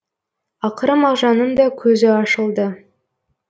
ақыры мағжанның да көзі ашылды